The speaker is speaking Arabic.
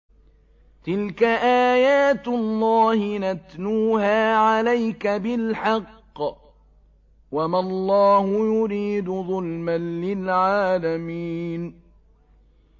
تِلْكَ آيَاتُ اللَّهِ نَتْلُوهَا عَلَيْكَ بِالْحَقِّ ۗ وَمَا اللَّهُ يُرِيدُ ظُلْمًا لِّلْعَالَمِينَ